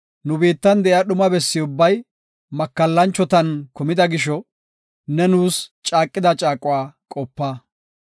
Nu biittan de7iya dhuma bessi ubbay makallanchotan kumida gisho, ne nuus caaqida caaquwa qopa.